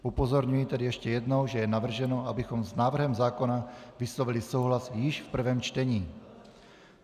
Upozorňuji tedy ještě jednou, že je navrženo, abychom s návrhem zákona vyslovili souhlas již v prvém čtení.